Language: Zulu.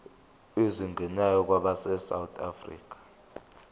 ezingenayo abesouth african